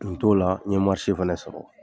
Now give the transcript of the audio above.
Tun t'o la, n ye fɛnɛ sɔrɔ.